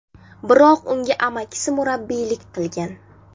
Biroq unga amakisi murabbiylik qilgan.